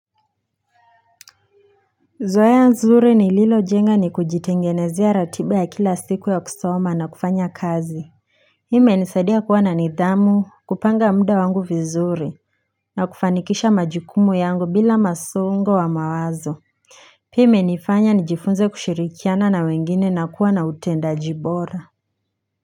Zoea nzuri nililojenga ni kujitengenezia ratiba ya kila siku ya kusoma na kufanya kazi Hii imenisadia kuwa na nidhamu kupanga muda wangu vizuri na kufanikisha majukumu yangu bila mqsongo wa mawazo Pia imenifanya nijifunze kushirikiana na wengine na kuwa na utendaji bora.